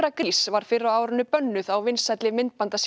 grís var fyrr á árinu bönnuð á vinsælli